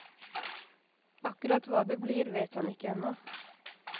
Akkurat hva det blir, vet han ikke ennå.